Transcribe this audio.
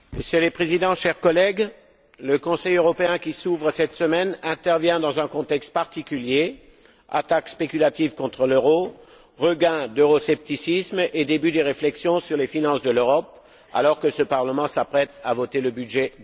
Monsieur le Président, chers collègues, le Conseil européen qui s'ouvre cette semaine intervient dans un contexte particulier attaques spéculatives contre l'euro, regain d'euroscepticisme et début des réflexions sur les finances de l'Europe alors que ce Parlement s'apprête à voter le budget